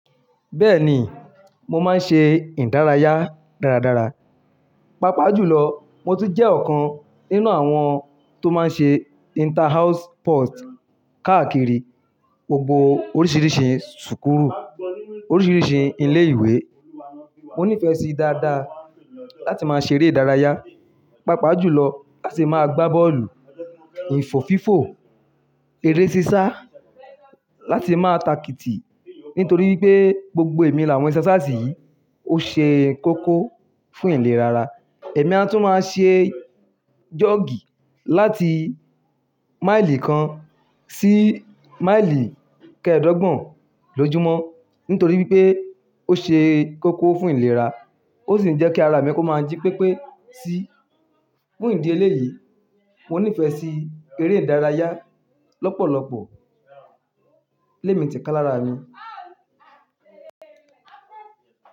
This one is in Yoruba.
Bẹ́ẹ̀ni, mo máa ń ṣe ìdárayá dáradára. Papajùlọ, mo tun jẹ́ ọ̀kan nínú àwọn tó máa ń ṣe inter house sport káàkiri gbogbo oríṣiríṣi súkúlù, oríṣiríṣi ilé ìwé. Mo nífẹ̀ẹ́ sí dáadáa láti máa ṣeré ìdárayá, papajùlọ láti máa gbá bọ́ọ̀lù, ìfòfífò, eré sísá, láti máa takiti. Nítorí pé gbogbo èmi làwọn iṣẹ́ sáàsì yìí ó ṣe kókó fún ìlera. Ẹ̀mí a tún máa ṣe jọ́ọ̀gì láti máìlì kan sí máìlì kẹ́ẹ̀dọ́gbọ̀n lójúmọ́. Nítorí pé ó ṣe kókó fún ìlera, ó sì ń jẹ́ kí ara mi kó máa jí pépé sí. Fún ìdí eléyìí, mo nífẹ̀ẹ́ sí eré ìdárayá lọ́pọ̀lọpọ̀. Lé mi tẹ̀ká lára ni.